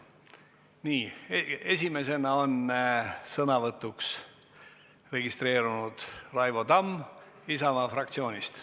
Nii, esimesena on sõnavõtuks registreerunud Raivo Tamm Isamaa fraktsioonist.